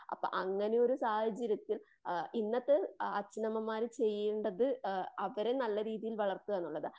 അപ്പ അങ്ങനെ ഒരു സാഹചര്യത്തിൽ ഇന്നത്തെ അച്ഛനമ്മമാര് ചെയ്യേണ്ടത് അവരെ നല്ല രീതിയിൽ വളർത്തുക എന്നുള്ളതാണ്.